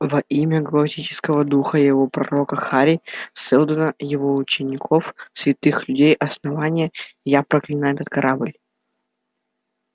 во имя галактического духа и его пророка хари сэлдона его учеников святых людей основания я проклинаю этот корабль